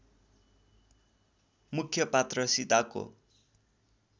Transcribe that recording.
मुख्य पात्र सीताको